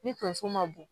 Ni tonso ma bɔ